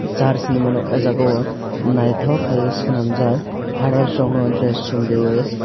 church hinmano oh jagao naithotok khaiui swnamjak fathers rokno dress chumriwui.